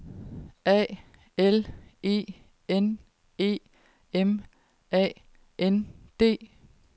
A L E N E M A N D